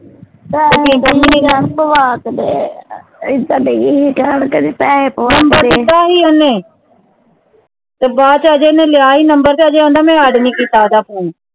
ਤੇ ਬਾਅਦ ਚ ਅਜੇ ਓਹਨੇ ਲਿਆ ਸੀ ਨੰਬਰ ਅਜੇ ਓਹਦਾ ਮੈਂ add ਨਹੀਂ ਕੀਤਾ ਓਹਦਾ PHONE